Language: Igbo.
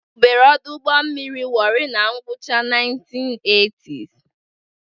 Ewubere ọdụ ụgbọ mmiri Warri na ngwụcha 1980s.